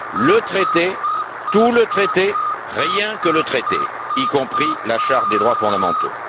Le traité, tout le traité, rien que le traité, y compris la Charte des droits fondamentaux.